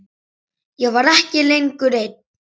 Ég var ekki lengur ein.